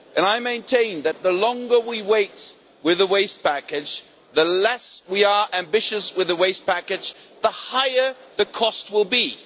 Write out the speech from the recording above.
I maintain that the longer we wait with the waste package and the less ambitious we are with the waste package, the higher the cost will be.